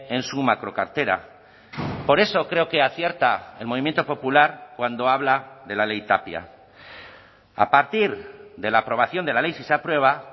en su macro cartera por eso creo que acierta el movimiento popular cuando habla de la ley tapia a partir de la aprobación de la ley si se aprueba